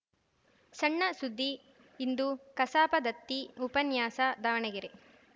ಸಣ್ಣ ಸುದ್ದಿ ಇಂದು ಕಸಾಪ ದತ್ತಿ ಉಪನ್ಯಾಸ ದಾವಣಗೆರೆ